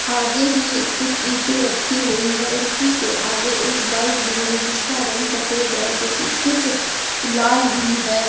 आगे ही कुछ ईंटें रखी हुई है और उसी के आगे एक बाइक भी है जिसका रंग सफेद है तो पीट कुछ लाल भी है।